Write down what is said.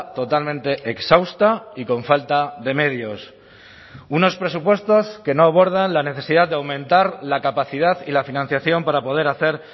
totalmente exhausta y con falta de medios unos presupuestos que no abordan la necesidad de aumentar la capacidad y la financiación para poder hacer